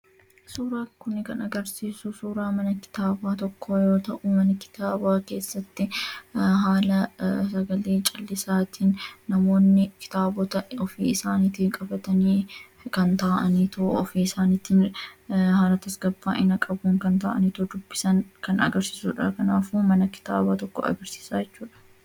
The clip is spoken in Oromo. suuraa kun kan agarsiisu suuraa mana kitaabaa tokko yoo ta'uu mana kitaabaa keessatti haala sagalee cal'isaatii namoonni kitaabota ofii isaaniitii qabatanii kan ta'aniito ofii isaanitii haala tasgaba'ina qabuu kan ta'aniitoo dubbisan kan agarsiisuudha kanaafu mana kitaabaa tokko agarsiisa jechuudha